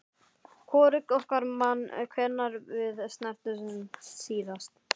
Hvorugt okkar man hvenær við snertumst síðast.